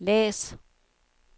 læs